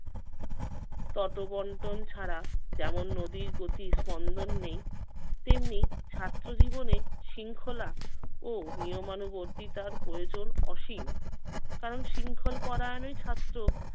ততবন্টন ছাড়া যেমন নদীর গতি স্পন্দন নেই তেমনি ছাত্র জীবনে শৃঙ্খলা ও নিয়মানুবর্তিতার প্রয়োজন অসীম কারণ শৃংখল পরায়ণেই ছাত্র